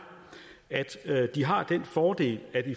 at de har den fordel at